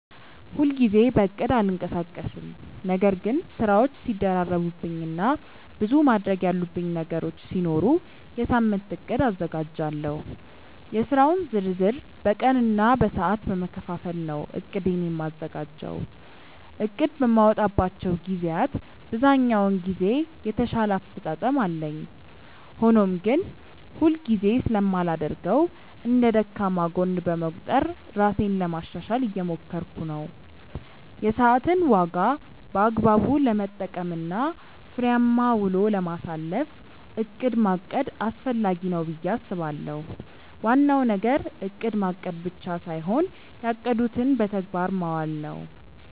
ሁል ጊዜ በእቅድ አልንቀሳቀስም ነገር ግን ስራዎች ሲደራረቡብኝ እና ብዙ ማድረግ ያሉብኝ ነገሮች ሲኖሩ የሳምንት እቅድ አዘጋጃለሁ። የስራውን ዝርዝር በቀን እና በሰዓት በመከፋፈል ነው እቅዴን የማዘጋጀው። እቅድ በማወጣባቸው ግዜያት ብዛኛውን ጊዜ የተሻለ አፈፃፀም አለኝ። ሆኖም ግን ሁል ጊዜ ስለማላደርገው እንደ ደካማ ጎን በመቁጠር ራሴን ለማሻሻሻል እየሞከርኩ ነው። የሰዓትን ዋጋ በአግባቡ ለመጠቀም እና ፍሬያማ ውሎ ለማሳለፍ እቅድ ማቀድ አስፈላጊ ነው ብዬ አስባለሁ። ዋናው ነገር እቅድ ማቀድ ብቻ ሳይሆን ያቀዱትን በተግባር ማዋል ነው።